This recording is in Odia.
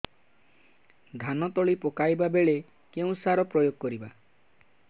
ଧାନ ତଳି ପକାଇବା ବେଳେ କେଉଁ ସାର ପ୍ରୟୋଗ କରିବା